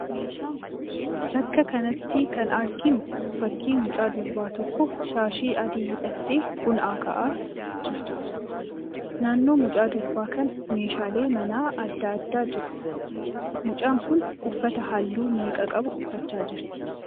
Bakka kanatti kan arginuu fakkii mucaan durbaa tokko shaashii adii hidhatte buna aka'aa jirtuudha. Naannoo mucaa durbaa kanaa meeshaaleen manaa adda addaa jiru. Mucaan kun uffata halluu meeqa qabu uffachaa jirti?